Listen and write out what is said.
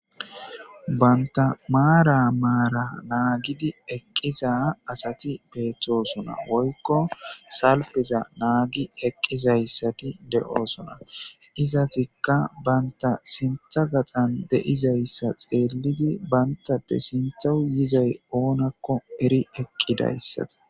banta maara maara naagidi eqqiza asati beethtosona woykko salpiza naagi eqqizayssati de7oosona izatikka banta sintha gaxan deizayssa xeellidi bayntappe sintha yizay oonakko eri eqqidayssata